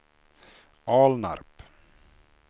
Alnarp